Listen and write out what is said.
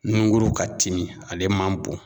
Nungurun ka timi ale man bon